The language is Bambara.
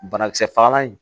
Banakisɛ fagalan in